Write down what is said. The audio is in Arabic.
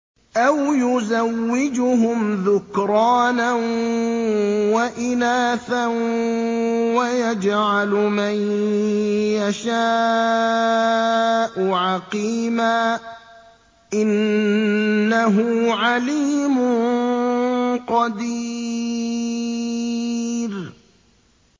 أَوْ يُزَوِّجُهُمْ ذُكْرَانًا وَإِنَاثًا ۖ وَيَجْعَلُ مَن يَشَاءُ عَقِيمًا ۚ إِنَّهُ عَلِيمٌ قَدِيرٌ